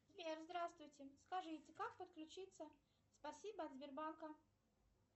сбер здравствуйте скажите как подключиться спасибо от сбербанка